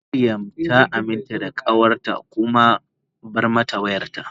Mariam ta aminta da kawarta ta kuma bar mata wayarta.